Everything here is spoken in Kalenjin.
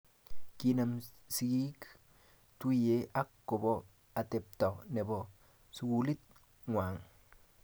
Kinam sikiik tuye ak kobo atepta nebo sukulit ngwang